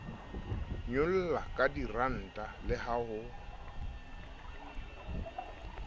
nyollwa kadiranta le ha ho